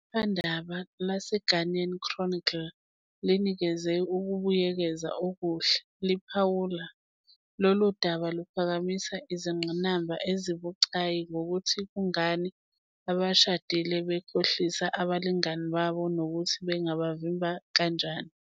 Iphephandaba "laseGhanaian Chronicle" linikeze ukubuyekeza okuhle, liphawula, "Lolu daba luphakamise izingqinamba ezibucayi ngokuthi kungani abashadile bekhohlisa abalingani babo nokuthi bangabavimba kanjani.